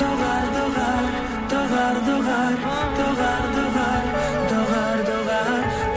доғар доғар доғар доғар доғар доғар доғар доғар